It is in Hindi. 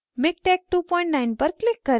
miktex29 पर click करें